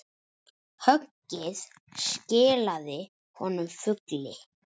Höggið skilaði honum fugli.